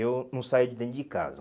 Eu não saía de dentro de casa.